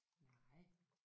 Nej